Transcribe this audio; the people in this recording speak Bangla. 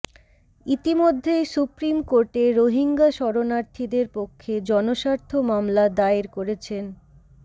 ইতিমধ্যেই সুপ্রিম কোর্টে রোহিঙ্গা শরণার্থীদের পক্ষে জনস্বার্থ মামলা দায়ের করেছেন